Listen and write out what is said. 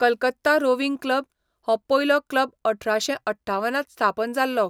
Calcutta rowing club, हो पयलो club अठराशें अठ्ठावनांत स्थापन जाल्लो.